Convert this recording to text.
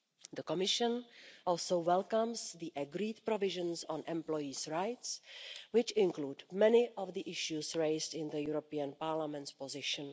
The Commission also welcomes the agreed provisions on employees' rights, which include many of the issues raised in the European Parliament's position.